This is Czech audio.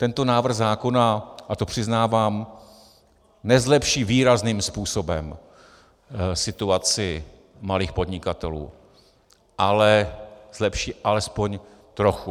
Tento návrh zákona, a to přiznávám, nezlepší výrazným způsobem situaci malých podnikatelů, ale zlepší alespoň trochu.